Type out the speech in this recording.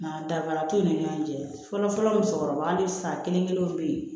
Nga danfara t'u ni ɲɔgɔn cɛ fɔlɔ musokɔrɔba ni san kelen kelenw bɛ yen